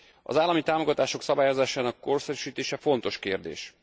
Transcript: Az állami támogatások szabályozásának korszerűsítése fontos kérdés.